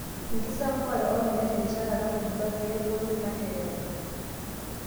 Enkisampuare ormuya terishata natubulua pi aagolu ilanterera.